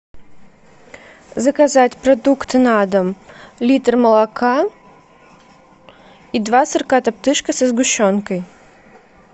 заказать продукты на дом литр молока и два сырка топтышка со сгущенкой